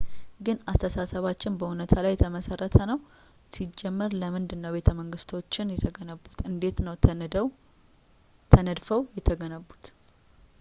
ግን አስተሳሰባችን በዕውነታ ላይ የተመሰረተ ነው ሲጀመር ለምንድን ነው ቤተመንግስቶች የተገነቡት እንዴት ነው ተነድፈው የተገነቡት